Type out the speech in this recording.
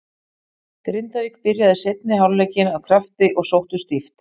Grindavík byrjaði seinni hálfleikinn af krafti og sóttu stíft.